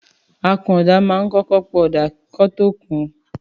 Àkúnọdà mà ń kọkọ pọ ọ̀dá kàn tọ kún